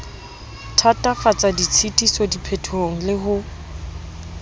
thatafatsa ditshitiso diphetohong le ho